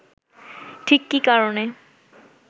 ঠিক কী কারণে